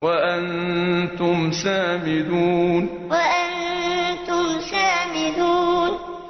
وَأَنتُمْ سَامِدُونَ وَأَنتُمْ سَامِدُونَ